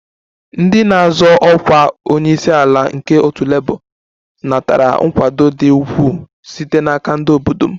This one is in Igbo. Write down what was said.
Ndị na-azọ ọkwa onye isi ala nke otu Labour natara nkwado dị ukwuu site n'aka ndị obodo m